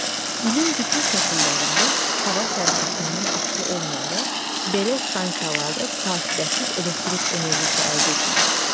İlin bütün fəsillərində hava şəraitindən asılı olmayaraq belə stansiyalarda fasiləsiz elektrik enerjisi əldə edilir.